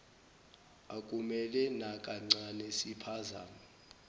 akumele nakancane siphazame